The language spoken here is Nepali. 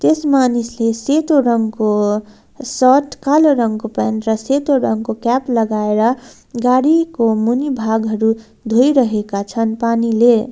यस मानिसले सेतो रंगको शर्ट कालो रंगको प्यान्ट र सेतो रंगको क्याप लगाएर गाडीको मुनि भागहरु धोइरहेका छन् पानीले।